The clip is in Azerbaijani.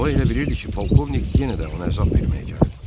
O elə bilirdi ki, polkovnik yenə də onu əzab verməyə gəlib.